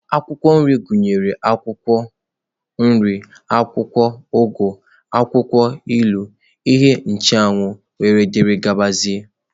Akwụkwọ nri gụnyere akwụkwọ nri, akwụkwọ ugu, akwụkwọ ilu, ihe ncheanwụ wdg.